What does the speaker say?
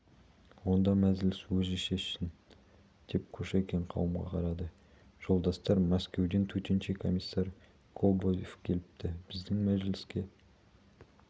онда мәжіліс өзі шешсін деп кушекин қауымға қарады жолдастар мәскеуден төтенше комиссар кобозев келіпті біздің мәжіліске